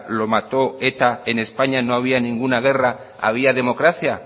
lo mató eta en españa no había ninguna guerra había democracia